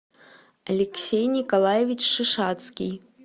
алексей николаевич шишацкий